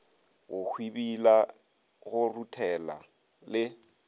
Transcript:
go hwibila go ruthela le